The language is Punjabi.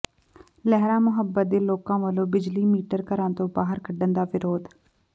ਲਹਿਰਾ ਮੁਹੱਬਤ ਦੇ ਲੋਕਾਂ ਵੱਲੋਂ ਬਿਜਲੀ ਮੀਟਰ ਘਰਾਂ ਤੋਂ ਬਾਹਰ ਕੱਢਣ ਦਾ ਵਿਰੋਧ